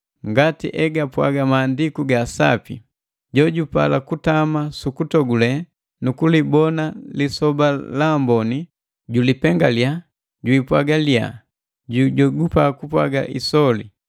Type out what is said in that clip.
Ngati egapwaga Maandiku ga Sapi: “Jojupala kutama sukutogule, nukulibona lisoba la amboni, julipengaliya jipwaga giliya, jujogupa kupwaga isole.”